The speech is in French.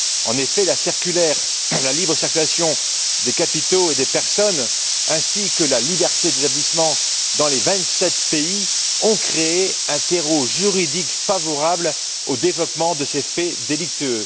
En effet, la libre circulation des capitaux et des personnes ainsi que la liberté d'établissement dans les vingt sept pays ont créé un terreau juridique favorable au développement de ces faits délictueux.